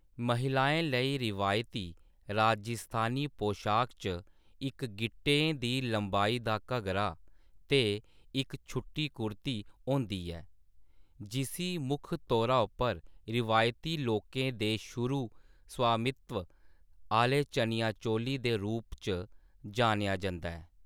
महिलाएं लेई रिवायती राजस्थानी पोशाक च इक गिट्टें दी लंबाई दा घग्गरा ते इक छुट्टी कुर्ती होंदी ऐ, जिस्सी मुक्ख तौर उप्पर रिवायती लोकें दे शुरू स्वामित्व आह्‌ले चनिया-चोली दे रूप च जानेआ जंदा ऐ।